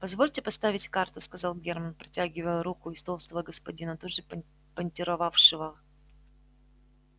позвольте поставить карту сказал германн протягивая руку из-за толстого господина тут же понтировавшего